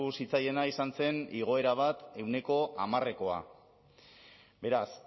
zitzaiena izan zen igoera bat ehuneko hamarekoa beraz